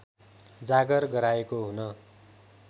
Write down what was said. जागर गराएको हुन